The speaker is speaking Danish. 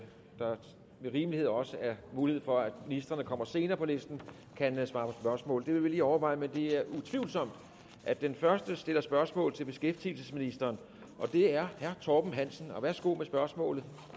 rimelighed også er mulighed for at ministre der kommer senere på listen kan svare på spørgsmål det vil vi lige overveje men det er utvivlsomt at den første stiller spørgsmål til beskæftigelsesministeren og det er herre torben hansen værsgo med spørgsmålet